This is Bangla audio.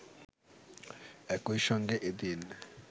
একইসঙ্গে এদিন